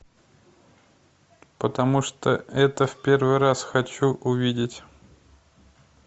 потому что это в первый раз хочу увидеть